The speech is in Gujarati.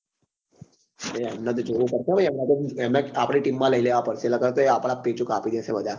એમને તો જોવું પડશે હો એમને તો આપડી team માં લઇ લેવા પડશે નકાર તો એ આપડા જ પેચો કાપી દેશે વધારે